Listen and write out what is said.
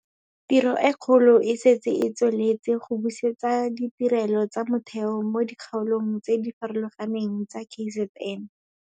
Tiro e kgolo e setse e tsweletse go busetsa ditirelo tsa motheo mo dikgaolong tse di farologaneng tsa KZN.